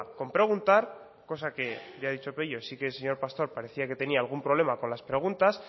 con preguntar cosa que ya ha dicho pello sí que el señor pastor parecía que tenía algún problema con las preguntas